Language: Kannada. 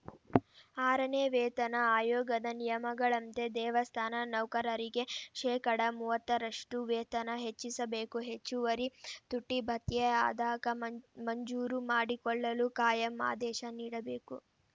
ಆರನೇ ವೇತನ ಆಯೋಗದ ನಿಯಮಗಳಂತೆ ದೇವಸ್ಥಾನ ನೌಕರರಿಗೆ ಶೇಕಡಾ ಮೂವತ್ತರಷ್ಟುವೇತನ ಹೆಚ್ಚಿಸಬೇಕು ಹೆಚ್ಚುವರಿ ತುಟ್ಟಿಭತ್ಯೆ ಆದಾಗ ಮ ಮಂಜೂರು ಮಾಡಿಕೊಳ್ಳಲು ಕಾಯಂ ಆದೇಶ ನೀಡಬೇಕು